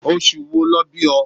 Oṣù wo lọ bí o?